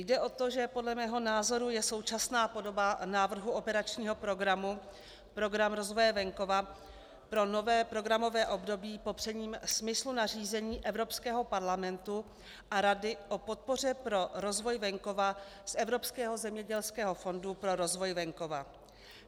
Jde o to, že podle mého názoru je současná podoba návrhu operačního programu Program rozvoje venkova pro nové programové období popřením smyslu nařízení Evropského parlamentu a Rady o podpoře pro rozvoj venkova z Evropského zemědělského fondu pro rozvoj venkova.